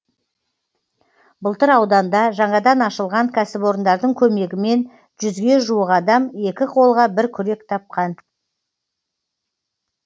былтыр ауданда жаңадан ашылған кәсіпорындардың көмегімен жүзге жуық адам екі қолға бір күрек тапқан